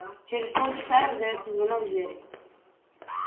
через полчаса раздаётся звонок в дверь